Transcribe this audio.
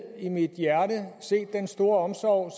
i mit hjerte set den store omsorg